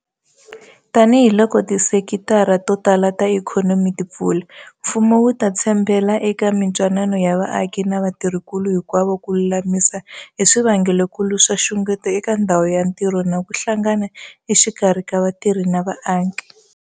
Tanihiloko tisekitara to tala ta ikhonomi ti pfula, mfumo wu ta tshembela eka mitwanano ya vaaki na vatirhinkulu hinkwavo ku lulamisa hi swivangelokulu swa nxungeto eka ndhawu ya ntirho na ku hlangana exikarhi ka vatirhi na vaaki.